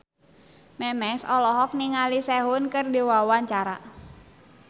Memes olohok ningali Sehun keur diwawancara